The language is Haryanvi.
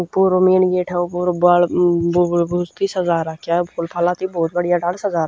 पुरो मेन गेट ह वो पुरो बाल अम्म बुबुलभुस तई सजा राख्या ह फूल फालां तई ब्होत बढ़िया ढाल सजा रा--